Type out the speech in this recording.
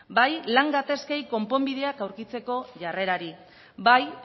bai lan gatazkei konponbideak aurkitzeko jarrerari bai